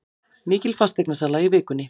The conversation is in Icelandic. Mikil fasteignasala í vikunni